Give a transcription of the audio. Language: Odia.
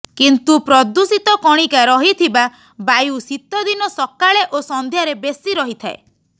କିନ୍ତୁ ପ୍ରଦୂଷିତ କଣିକା ରହିଥିବା ବାୟୁ ଶୀତଦିନ ସକାଳେ ଓ ସନ୍ଧ୍ୟାରେ ବେଶୀ ରହିଥାଏ